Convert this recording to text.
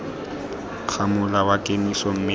ga mola wa kemiso mme